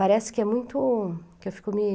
Parece que é muito... que eu fico me...